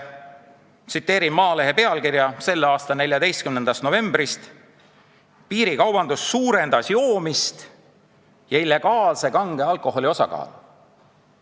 Ma tsiteerin Maalehe pealkirja selle aasta 14. novembrist: "Piirikaubandus suurendas joomist ja illegaalse kange alkoholi osakaalu".